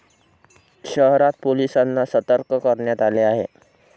शहरात पोलिसांना सतर्क करण्यात आले आहे.